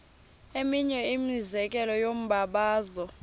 eminye imizekelo yombabazo